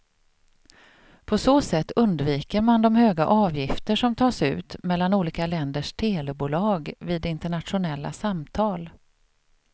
På så sätt undviker man de höga avgifter som tas ut mellan olika länders telebolag vid internationella samtal.